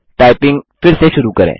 typing फिर से शुरू करें